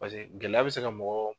Paseke gɛlɛya bɛ se ka mɔgɔ